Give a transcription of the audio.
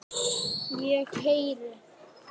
Ég heyri.